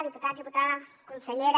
diputats diputades consellera